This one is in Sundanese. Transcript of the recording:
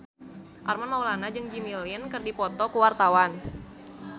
Armand Maulana jeung Jimmy Lin keur dipoto ku wartawan